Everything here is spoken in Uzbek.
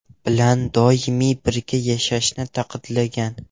bilan doimiy birga yashashini ta’kidlagan.